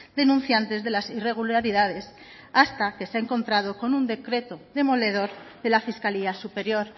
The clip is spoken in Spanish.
denunciantes de las irregularidades hasta que se ha encontrado con un decreto demoledor de la fiscalía superior